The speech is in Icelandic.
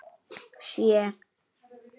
Sjö